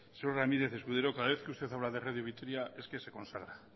señor ramírez escudero cada vez que usted habla de radio vitoria es que se consagra